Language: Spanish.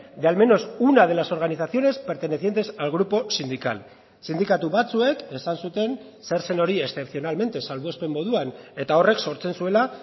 de al menos una de las organizaciones pertenecientes al grupo sindical sindikatu batzuek esan zuten zer zen hori excepcionalmente salbuespen moduan eta horrek sortzen zuela